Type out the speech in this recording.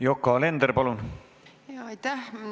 Yoko Alender, palun!